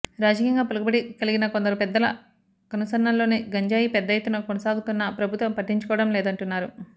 రాజకీయంగా పలుకుబడి కలిగిన కొందరు పెద్దల కనుసన్నల్లోనే గంజాయి పెద్ద ఎత్తున సాగవుతున్నా ప్రభుత్వం పట్టించుకోవడం లేదం టున్నారు